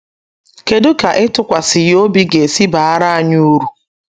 Kedụ ka ịtụkwasị ya obi ga esi baara anyị uru?